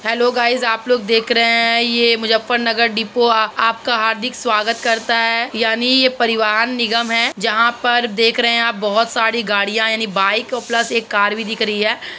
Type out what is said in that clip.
Hello guys आप लोग देख रहे हैं। ये मुज़्ज़रफ़फ़र नगर डिपो आपका हार्दिक स्वागत करता है यानी ये परिवहन निगम है। जहाँ पर देख रहे हैं। बहोत सारी गाड़ियां यानी बाइक और प्लस एक कार भी दिख रही है।